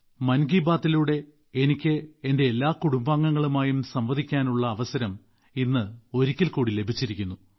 മൻ കി ബാത്തിലൂടെ എനിക്ക് എന്റെ എല്ലാ കുടുംബാംഗങ്ങളുമായും സംവദിക്കാനുള്ള അവസരം ഇന്ന് ഒരിക്കൽക്കൂടി ലഭിച്ചിരിക്കുന്നു